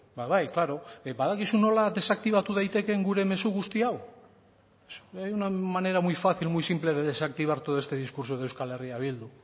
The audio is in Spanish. ba bai claro badakizu nola desaktibatu daitekeen gure mezu guzti hau hay una manera muy fácil muy simple de desactivar todo este discurso de euskal herria bildu